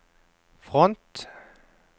front